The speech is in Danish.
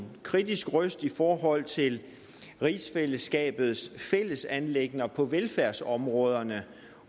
kritisk røst i forhold til rigsfællesskabets fælles anliggender på velfærdsområderne